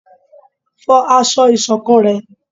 fọ aṣọ ìṣọ̀kan rẹ!